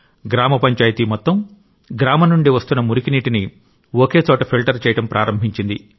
గ్రామ పంచాయతీ మొత్తం గ్రామం నుండి వస్తున్న మురికి నీటిని ఒకే చోట ఫిల్టర్ చేయడం ప్రారంభించింది